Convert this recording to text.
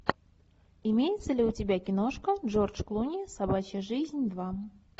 имеется ли у тебя киношка джордж клуни собачья жизнь два